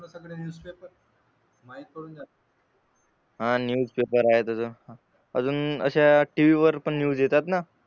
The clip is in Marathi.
हा न्यूज पेपर आहे त्याचं अजून अशा टीव्ही वर पण न्यूज येतात ना